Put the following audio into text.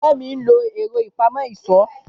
Fẹ́mi ń lo ẹ̀rọ ìpamọ́ ìṣó